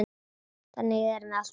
Þannig erum við alltaf saman.